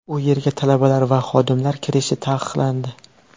U yerga talabalar va xodimlar kirishi taqiqlandi.